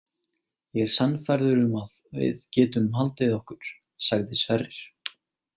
Ég er sannfærður um að við getum haldið okkur, sagði Sverrir.